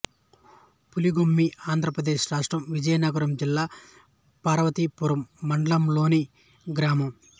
పులిగుమ్మి ఆంధ్ర ప్రదేశ్ రాష్ట్రం విజయనగరం జిల్లా పార్వతీపురం మండలంలోని గ్రామం